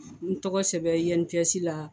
ye n tɔgɔ sɛbɛn INPS la